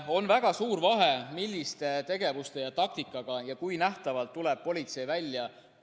On väga suur vahe, millise tegevuse ja taktikaga, kui nähtavalt tuleb politsei välja.